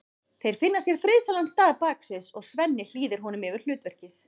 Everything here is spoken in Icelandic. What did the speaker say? Þeir finna sér friðsælan stað baksviðs og Svenni hlýðir honum yfir hlutverkið.